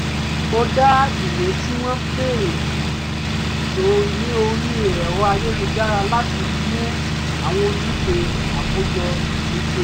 mo dá ìwé tí wọ́n béèrè jọ ní orí ẹ̀rọ ayélujára láti mú àwọn ojúṣe àkójọ mi ṣẹ